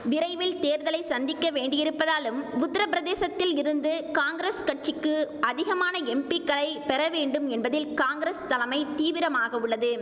விரைவில் தேர்தலை சந்திக்க வேண்டியிருப்பதாலும் உத்திரபிரதேசத்தில் இருந்து காங்கிரஸ் கட்சிக்கு அதிகமான எம்பிக்களை பெற வேண்டும் என்பதில் காங்கிரஸ் தலைமை தீவிரமாக உள்ளது